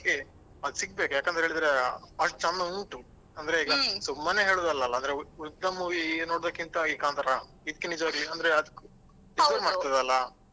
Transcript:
ಅದು ಸಿಗ್ಬೇಕು ಯಾಕಂತ ಹೇಳಿದ್ರೆ ಅಷ್ಟ್ ಚಂದ ಉಂಟು ಅಂದ್ರೆ. ಸುಮ್ಮನೆ ಹೇಳುದಲ್ಲಲ ಅಂದ್ರೆ ಉ~ ಉಳ್ದ movie ನೋಡುದಕ್ಕಿಂತ ಈ ಕಾಂತಾರ ಇದ್ಕೆ ನಿಜ್ವಾಗಿ ಅಂದ್ರೆ ಅದ್ಕು ಮಾಡ್ತದಲಾ.